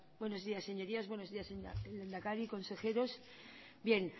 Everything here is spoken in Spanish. buenos días señorías señor lehendakari consejeros bien